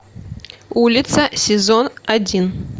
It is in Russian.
улица сезон один